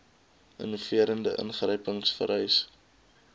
innoverende ingryping vereis